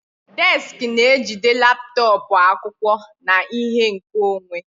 Desiki na-ejide laptọọpụ, akwụkwọ, na ihe nkeonwe.